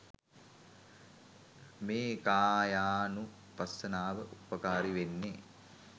මේ කායානුපස්සනාව උපකාරී වෙන්නෙ.